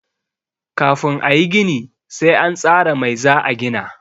Kafin a yi gini sai an tsara mai za a gina.